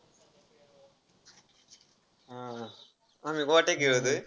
हा, हा. आम्ही गोट्या खेळतोय.